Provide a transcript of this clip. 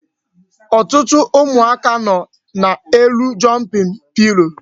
Ọtụtụ ụmụaka nọ n'elu jumping pillow